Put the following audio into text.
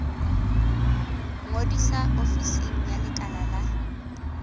ngodisa ofising ya lekala la